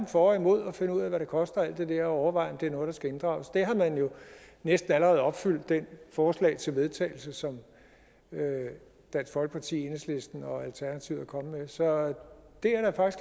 for og imod og finde ud af hvad de koster og alt det overveje om det er noget der skal inddrages man har jo næsten allerede opfyldt det forslag til vedtagelse som dansk folkeparti enhedslisten og alternativet er kommet med så det